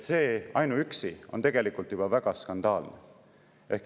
Ainuüksi see on juba väga skandaalne.